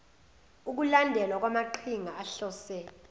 ukulandelelwa kwamaqhinga ahlose